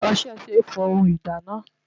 Ọṣẹ ṣe é fọ ohun ìdáná.